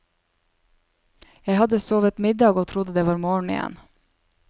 Jeg hadde sovet middag og trodde det var morgen igjen.